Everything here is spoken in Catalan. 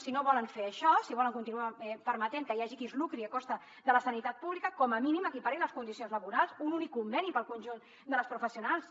si no volen fer això si volen continuar permetent que hi hagi qui es lucri a costa de la sanitat pública com a mínim equiparin les condicions laborals un únic conveni per al conjunt de les professionals